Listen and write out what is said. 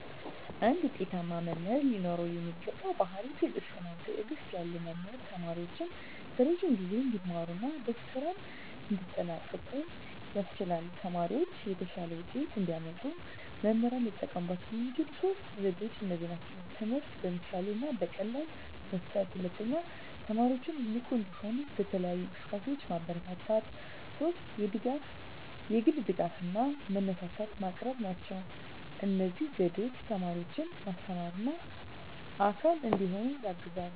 አንድ ውጤታማ መምህር ሊኖረው የሚገባው ባሕርይ ትዕግስት ነው። ትዕግስት ያለው መምህር ተማሪዎቹን በረዥም ጊዜ እንዲማሩ እና በስራም እንዲጠንቀቁ ያስችላል። ተማሪዎቻቸው የተሻለ ውጤት እንዲያመጡ መምህራን ሊጠቀሙባቸው የሚችሉት ሦስት ዘዴዎች እነዚህ ናቸው፦ ትምህርትን በምሳሌ እና በቀላል መስጠት፣ 2) ተማሪዎችን ንቁ እንዲሆኑ በተለያዩ እንቅስቃሴዎች ማበረታታት፣ 3) የግል ድጋፍ እና መነሳሳት ማቅረብ ናቸው። እነዚህ ዘዴዎች ተማሪዎችን ማስተማርና አካል እንዲሆኑ ያግዛሉ።